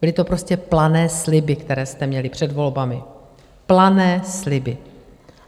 Byly to prostě plané sliby, které jste měli před volbami, plané sliby.